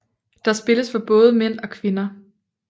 Der spilles for både mænd og kvinder